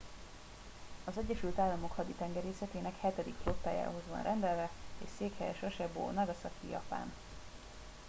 az egyesült államok haditengerészetének hetedik flottájához van rendelve és székhelye sasebo nagasaki japán